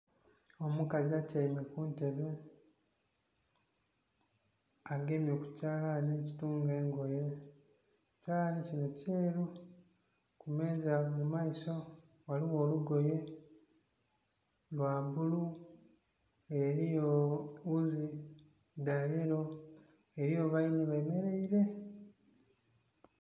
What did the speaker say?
Omukazi atyaime ku ntebe agemye ku kyalani ekitunga engoye, ekyalani kino kyeeru. Kumeenza mu maiso ghaligho olugoye lwa bbulu eriyo wuuzi dha yeero eriyo baine bemereire.